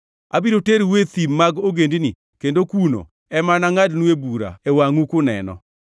Abiro terou e thim mag ogendini kendo kuno ema anangʼadnue bura e wangʼu kuneno.